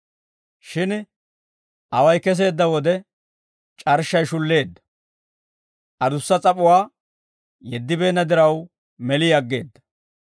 Shin away keseedda wode c'arshshay shulleedda; adussa s'ap'uwaa yeddibeenna diraw meli aggeedda.